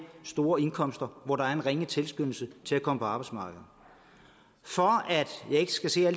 store indkomster hvor der er en ringe tilskyndelse til at komme på arbejdsmarkedet for at jeg ikke skal se at